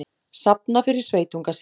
Safna fyrir sveitunga sinn